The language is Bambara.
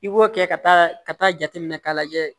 I b'o kɛ ka taa ka taa jateminɛ k'a lajɛ